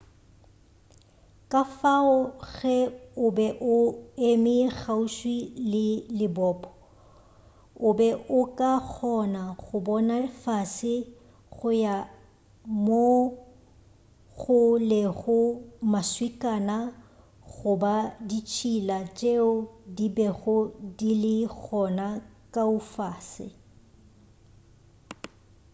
kafao ge o be o eme kgauswi le lebopo o be o ka kgona go bona fase go ya mo go lego maswikana goba ditšhila tšeo di bego di le gona kua fase